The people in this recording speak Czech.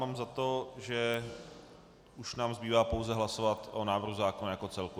Mám za to, že už nám zbývá pouze hlasovat o návrhu zákona jako celku.